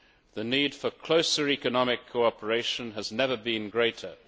The need for closer economic cooperation has never been greater.